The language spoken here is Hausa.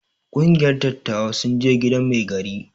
Kungiyar dattawa sun je gidan mai gari.